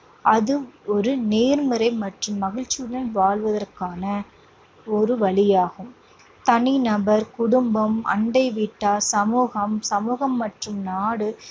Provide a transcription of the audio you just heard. அது ஒரு நேர்மறை மற்றும் மகிழ்ச்சியுடன் வாழ்வதற்கான ஒரு வழியாகும். தனிநபர், குடும்பம், அண்டை வீட்டார், சமூகம், சமூகம் மற்றும் நாடு